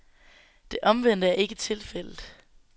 Det omvendte er ikke tilfældet.